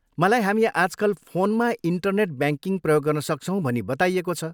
मलाई हामी आजकल फोनमा इन्टरनेट ब्याङ्किङ प्रयोग गर्न सक्छौँ भनी बताइएको छ।